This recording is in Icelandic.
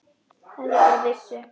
Ef þau bara vissu.